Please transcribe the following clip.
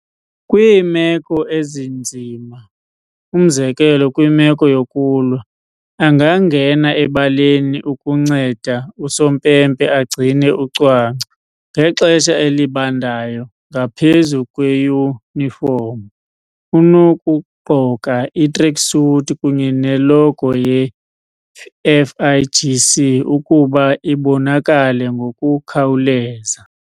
Kwiimeko ezinzima, umzekelo kwimeko yokulwa, angangena ebaleni ukunceda usompempe agcine ucwangco. Ngexesha elibandayo, ngaphezu kweyunifomu, unokugqoka i-tracksuit kunye ne-logo ye-FIGC, ukuba ibonakale ngokukhawuleza.